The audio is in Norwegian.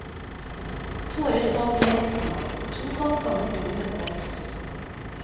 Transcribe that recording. Tårer falt lett, komma og to falt sammen under møtet. punktum